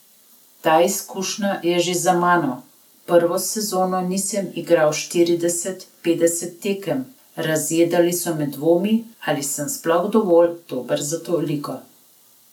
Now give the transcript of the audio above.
Ta izkušnja je že za mano, prvo sezono nisem igral štirideset, petdeset tekem, razjedali so me dvomi, ali sem sploh dovolj dober za to ligo.